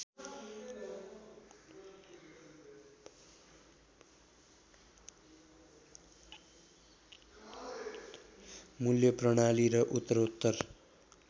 मूल्य प्रणाली र उत्तरोत्तर